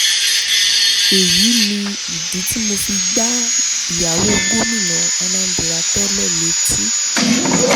èyí ni ìdí tí mo fi gba ìyàwó gómìnà anambra tẹ́lẹ̀ létí